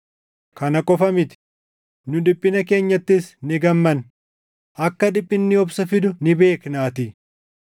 Kana qofa miti; nu dhiphina keenyattis ni gammanna; akka dhiphinni obsa fidu ni beeknaatii;